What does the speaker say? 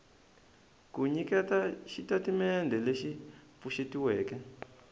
ku nyiketa xitatimendhe lexi pfuxetiweke